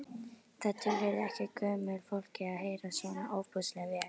Það tilheyrði ekki gömlu fólki að heyra svona ofboðslega vel.